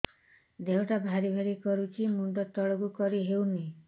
ଦେହଟା ଭାରି ଭାରି କରୁଛି ମୁଣ୍ଡ ତଳକୁ କରି ହେଉନି